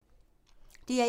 DR1